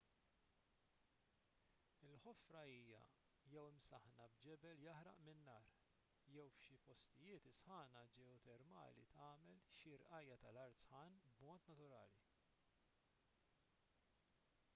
il-ħofra hija jew imsaħħna b'ġebel jaħraq minn nar jew f'xi postijiet is-sħana ġeotermali tagħmel xi rqajja' tal-art sħan b'mod naturali